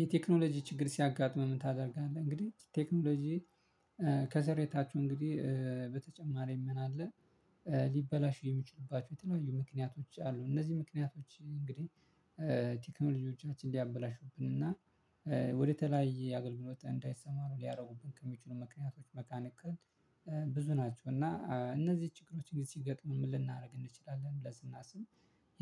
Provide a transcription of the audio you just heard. የቴክኖሎጂ ችግር ሲያጋጥመን ታደርጋለህ እንግዲህ ቴክኖሎጂ ከሰር የታችሁ እንግዲህ በተጨማሪ ምን አለ? ሊበላሹ የሚችሉባቸው የተለዋዩ ምክንያቶች አሉ። እነዚህ ምክንያቶች እንግዲህ ቴክኖሎጂ ልጆቻችን ሊያበላሹብን እና ወደተለያየ አገልግሎት እንዳይሰማ ነው ሊያደርጉብን ምክንያቶች መካኒክ ብዙ ናቸው እና እነዚህ ችግሮች ጊዜ ሲገጥምን ምልናደርግ እንችላለን ብለን ስናስብም።